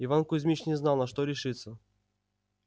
иван кузмич не знал на что решиться